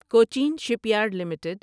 Cochin shipyard limited